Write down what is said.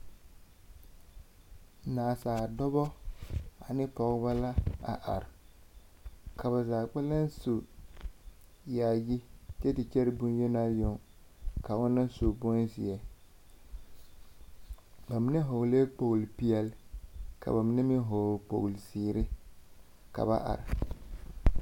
Nansaale dͻbͻ ane pͻgebͻ la a are. ka ba zaa kpԑlem su yaayi kyԑ te kyԑre boŋyenaa yoŋ ka ona su bonzeԑ. Ba mine vͻgeleԑԑ kpooli peԑle, ka ba mine meŋ vͻgele kooli zeere ka ba are.